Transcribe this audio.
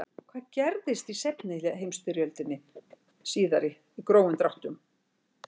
hvað gerðist í heimsstyrjöldinni síðari í grófum dráttum